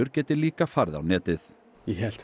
geti líka farið á netið ég held að